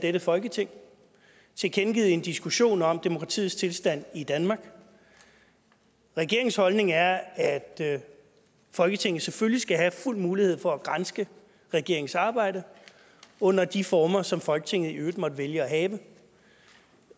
dette folketing tilkendegivet i en diskussion om demokratiets tilstand i danmark regeringens holdning er at folketinget selvfølgelig skal have fuld mulighed for at granske regeringens arbejde under de former som folketinget i øvrigt måtte vælge at have